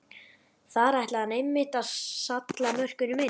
Þar ætlaði hann einmitt að salla mörkunum inn!